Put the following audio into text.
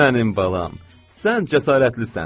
Mənim balam, sən cəsarətlisən!